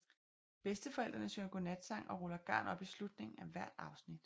Bedsteforældrene synger godnatsang og ruller garn op i slutningen af hvert afsnit